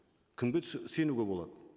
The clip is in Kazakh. кімге сенуге болады